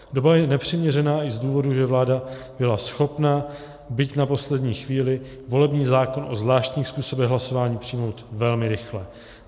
Doba je nepřiměřená i z důvodu, že vláda byla schopna, byť na poslední chvíli, volební zákon o zvláštních způsobech hlasování přijmout velmi rychle.